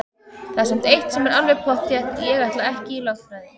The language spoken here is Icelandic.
Það er samt eitt sem er alveg pottþétt: Ég ætla ekki í lögfræði!